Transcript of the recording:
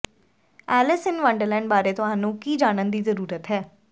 Alice in Wonderland ਬਾਰੇ ਤੁਹਾਨੂੰ ਕੀ ਜਾਣਨ ਦੀ ਜ਼ਰੂਰਤ ਹੈ